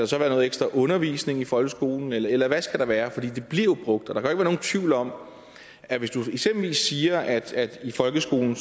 så være noget ekstra undervisning i folkeskolen eller eller hvad skal der være for det bliver jo brugt og der være nogen tvivl om at hvis du eksempelvis siger at i folkeskolen